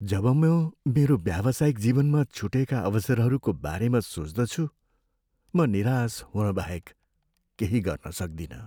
जब म मेरो व्यावसायिक जीवनमा छुटेका अवसरहरूको बारेमा सोच्दछु म निराश हुनबाहक केही गर्न सक्दिनँ।